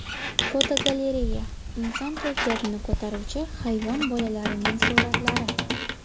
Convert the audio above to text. Fotogalereya: Inson kayfiyatini ko‘taruvchi hayvon bolalarining suratlari.